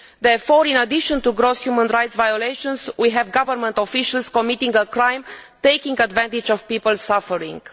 Therefore, in addition to gross human rights violations, we have government officials committing a crime by taking advantage of people's suffering.